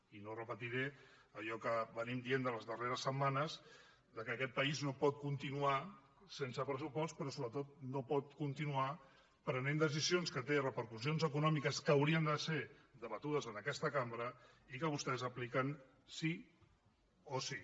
i no repetiré allò que diem les darreres setmanes que aquest país no pot continuar sense pressupost però sobretot no pot continuar prenent decisions que tenen repercussions econòmiques que haurien de ser debatudes en aquesta cambra i que vostès apliquen sí o sí